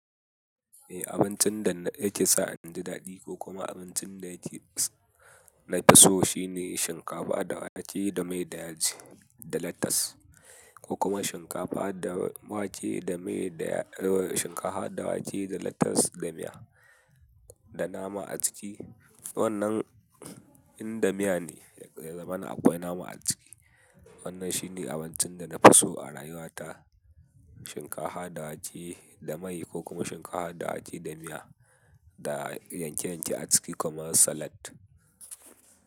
Eh, abincin da yake sa in ji daɗi ko kuma abincin da yake nafi so shine shinkafa da wake da mai da yaji da latas, ko kuma shinkafa da wake da mai da-- shinkafa da wake da latas da miya da nama a ciki. Wannan in da miya ne, ya zamana akwai nama a ciki. Wannan shine abincin da na fi so a rayuwa ta, shinkafa da wake da mai ko kuma shinkafa da wake da miya da yanke-yanke a ciki kaman salad.